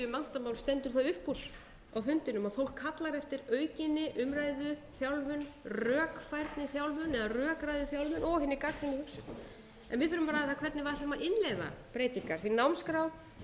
vandamál stendur það upp úr á fundinum að fólk kallar eftir aukinni umræðu þjálfun rökfærniþjálfun eða rökræðuþjálfun og hinni gagnrýnu hugsun en við þurfum að ræða það hvernig við ætlum að innleiða breytingar því námsskrá